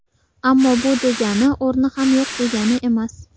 Ammo bu degani o‘rni ham yo‘q degani emas.